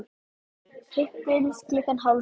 Hittumst klukkan hálf sjö.